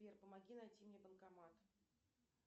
сбер помоги найти мне банкомат